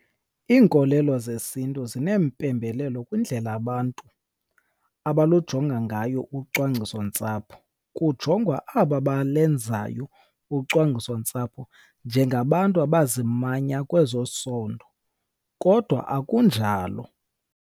Iinkolelo zesiNtu zinempembelelo kwindlela abantu abalujonga ngayo ucwangcisontsapho. Kujongwa aba balenzayo ucwangcisontsapho njengabantu abazimanya kwezosondo, kodwa akunjalo.